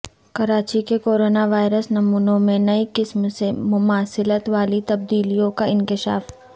کراچی کے coronavirus نمونوں میں نئی قسم سے مماثلت والی تبدیلیوں کا انکشاف